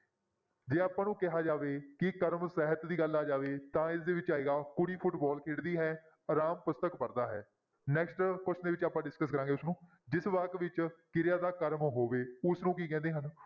ਜੇ ਆਪਾਂ ਨੂੰ ਕਿਹਾ ਜਾਵੇ ਕਿ ਕਰਮ ਸਾਹਿਤ ਦੀ ਗੱਲ ਆ ਜਾਵੇ ਤਾਂ ਇਸਦੇ ਵਿੱਚ ਆਏਗਾ ਕੁੜੀ ਫੁਟਬਾਲ ਖੇਡਦੀ ਹੈ ਰਾਮ ਪੁਸਤਕ ਪੜ੍ਹਦਾ ਹੈ next question ਦੇ ਵਿੱਚ ਆਪਾਂ discuss ਕਰਾਂਗਾ ਇਸਨੂੰ, ਜਿਸ ਵਾਕ ਵਿੱਚ ਕਿਰਿਆ ਦਾ ਕਰਮ ਹੋਵੇ ਉਸਨੂੰ ਕੀ ਕਹਿੰਦੇ ਹਨ?